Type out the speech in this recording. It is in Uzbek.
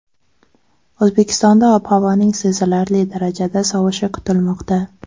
O‘zbekistonda ob-havoning sezilarli darajada sovishi kutilmoqda.